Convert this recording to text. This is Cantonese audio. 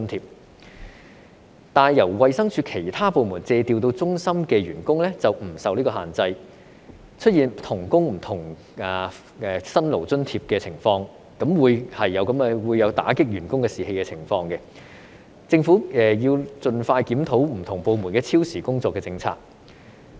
可是，由衞生署其他部門借調到中心的員工便不受這個限制，出現"同工不同辛勞津貼"的情況，這便會有打擊員工士氣的情況，政府應盡快檢討不同部門超時工作的政策。